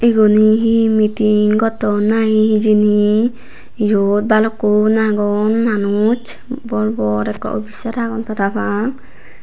eguni he meeting gotton nahi hijeni eyot balukkun agon manuj bor bor ekke officer agon parapang.